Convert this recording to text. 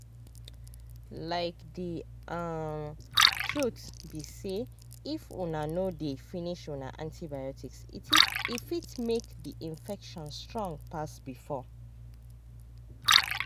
like the um truth be sayif una no dey finish una antibiotics e fit make the infection strong pass before.